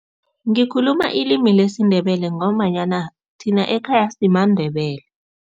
Ngikhuluma ilimi lesiNdebele ngombanyana thina ekhaya simaNdebele.